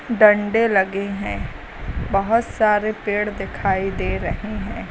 डंडे लगे हैं। बहुत सारे पेड़ दिखाई दे रहे हैं।